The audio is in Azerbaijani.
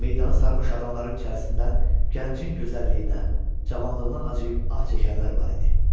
Meydanı sarmış adamların içərisindən gəncin gözəlliyinə, cavanlığına acıyıb ah çəkənlər var idi.